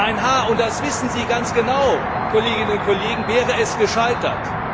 Um ein Haar und das wissen Sie ganz genau, Kolleginnen und Kollegen wäre es gescheitert.